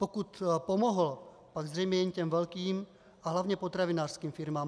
Pokud pomohl, pak zřejmě jen těm velkým a hlavně potravinářským firmám.